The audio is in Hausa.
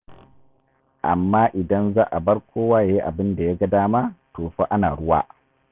Amma idan za a bar kowa ya yi abin da ya ga dama, to fa ana ruwa.